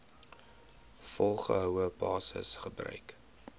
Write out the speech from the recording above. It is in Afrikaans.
volgehoue basis gebruik